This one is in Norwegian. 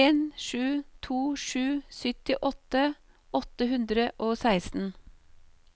en sju to sju syttiåtte åtte hundre og seksten